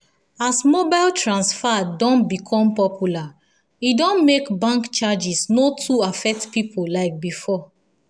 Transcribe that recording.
as mobile transfer don become popular e don make bank charges no too affect people like before.